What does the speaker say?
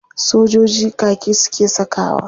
Sojiji kaki suke sakawa.